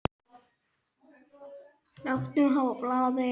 Láttu mig fá blaðið!